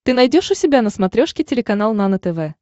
ты найдешь у себя на смотрешке телеканал нано тв